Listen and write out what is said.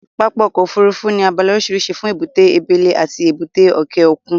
Pápá ọkọ̀ Òfurufú ní abala oríṣiríṣi fún èbúté abẹ́lẹ́ àti èbúté òkè òkun